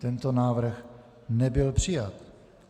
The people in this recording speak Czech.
Tento návrh nebyl přijat.